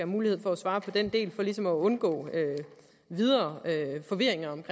mulighed for at svare på den del for ligesom at undgå videre forvirring om